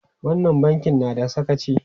Wannan bankin na da sakaci!